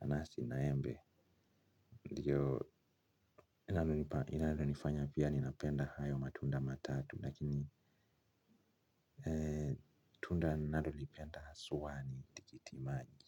nanasi na embe ndiyo inalo nifanya pia ninapenda hayo matunda matatu lakini ee tunda ninalolipenda aswa ni tikiti maji.